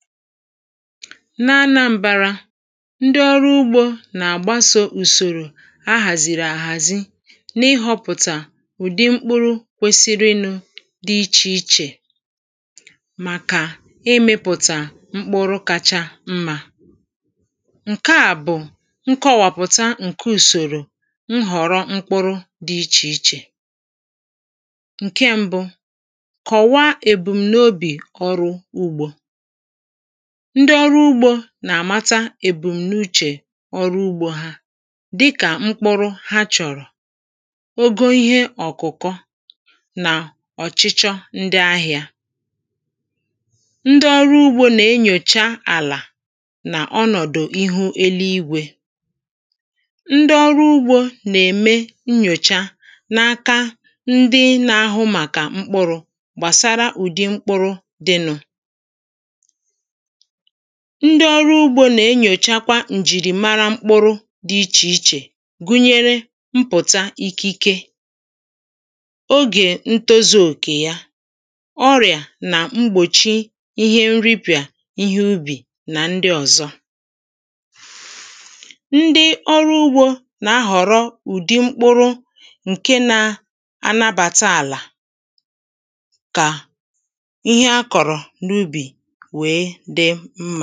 n’anambārā, ndị ọrụ ugbō nà-àgbasō ùsòrò a hàzìrì ahàzi n’ịhọpụ̀tà ụ̀dị mkpụrụ kwesịrịnụ̄ dɪ́ ichè ichè màkà ịmị̄pụ̀tà mkpụrụ kacha mmā ǹke à bụ̀ nkọwàpụ̀ta ǹke ùsòrò nhọ̀rọ mkpụrụ dɪ́ ichè ichè ǹké ḿbụ kọ̀waa èbùm̀ n’obì ọrụ ugbō ndị ọrụ ugbō nà-àmata èbùm̀ n’úchè ọrụ ugbō há, dịkà mkpụrụ ha chọrọ ogo ihe ọ̀kụ̀kọ nà ọ̀chịchọ ndị ahịa ndị ọrụ ugbō nà-enyòcha àlà nà ọnọ̀dụ̀ ihu eluigwē. ndị ọrụ ugbō nà-ème nnyòcha n’aka ndị na-ahụ màkà mkpụrụ̄ gbàsara ụ̀dị mkpụrụ dị nụ̄ ndị ọrụ ugbō nà-enyòchakwa ǹjìrìmara mkpụrụ dɪ́ ichè ichè gụnyere mpụ̀ta ikike ogè ńtózū òkè yá ọrị̀à nà mgbòchi ihe nripìà ihe ubì na ndị ọ̀zọ ndị ọrụ ugbō nà-ahọ̀rọ ụ̀dị mkpụrụ ǹke nā a nabàta àlà kà ihe a kọ̀rọ̀ n’ubì wèe dị mmā.